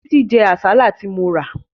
Títí jẹ àsálà tí mo rà